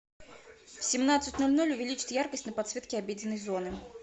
в семнадцать ноль ноль увеличить яркость на подсветке обеденной зоны